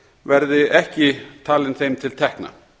verði ekki talin þeim til tekna